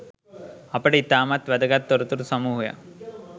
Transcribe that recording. අපට ඉතාමත් වැදගත්‍ තොරතුරු සමූහයක්